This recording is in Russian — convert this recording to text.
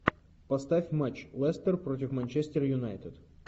поставь матч лестер против манчестер юнайтед